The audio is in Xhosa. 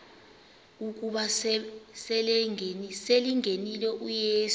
ukuba selengenile uyesu